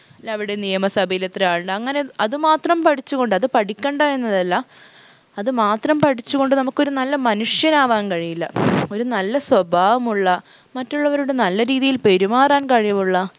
ല്ലെ അവിടെ നിയമസഭയിൽ എത്ര ആളുണ്ട് അങ്ങനെ അതുമാത്രം പഠിച്ചുകൊണ്ട് അത് പഠിക്കണ്ട എന്നതല്ല അത് മാത്രം പഠിച്ചുകൊണ്ട് നമുക്കൊരു നല്ല മനുഷ്യൻ ആവാൻ കഴിയില്ല ഒരു നല്ല സ്വഭാവമുള്ള മറ്റുള്ളവരോട് നല്ല രീതിയിൽ പെരുമാറാൻ കഴിവുള്ള